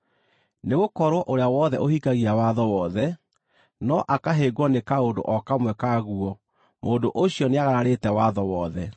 Nĩgũkorwo ũrĩa wothe ũhingagia watho wothe, no akahĩngwo nĩ kaũndũ o kamwe ka guo, mũndũ ũcio nĩagararĩte watho wothe.